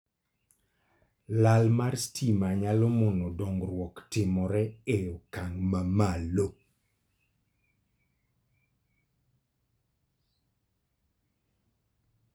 Lal mar stima nyalo mono dongruok timore e okang' mamalo.